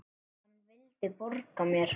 Hann vildi borga mér!